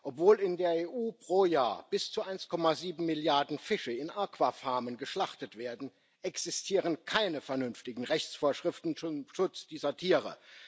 Obwohl in der EU pro Jahr bis zu 1,7 Milliarden Fische in Aquafarmen geschlachtet werden, existieren keine vernünftigen Rechtsvorschriften zum Schutz dieser Tiere.